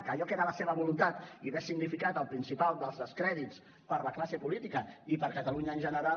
que allò que era la seva voluntat i hagués significat el principal dels descrèdits per a la classe política i per a catalunya en general